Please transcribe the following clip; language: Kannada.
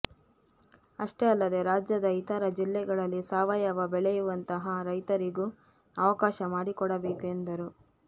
ಅಷ್ಟೇ ಅಲ್ಲದೇ ರಾಜ್ಯದ ಇತರ ಜಿಲ್ಲೆಗಳಲ್ಲಿ ಸಾವಯವ ಬೆಳೆಯುವಂತಹ ರೈತರಿಗೂ ಅವಕಾಶ ಮಾಡಿಕೊಡಬೇಕು ಎಂದರು